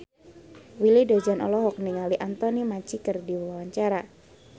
Willy Dozan olohok ningali Anthony Mackie keur diwawancara